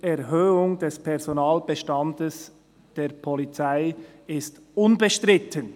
«Die Erhöhung des Personalbestandes der Polizei ist unbestritten».